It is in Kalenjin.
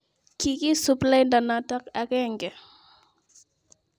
Kigisup lainda noto agenge